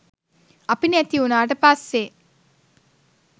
අපි නැතිවුණාට පස්සේ